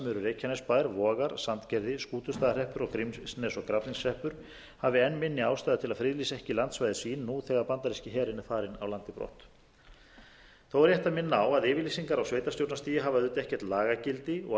reykjanesbær vogar sandgerði skútustaðahreppur grímsnes og grafningshreppur hafi enn minni ástæðu til að friðlýsa ekki landsvæði sín nú þegar bandaríski herinn er farinn af landi brott þó er rétt að minna á að yfirlýsingar á sveitarstjórnarstigi hafa almennt ekkert lagagildi og